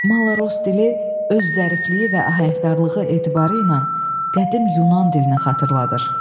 "Malaros dili öz zərifliyi və ahəngdarlığı etibarı ilə qədim Yunan dilini xatırladır".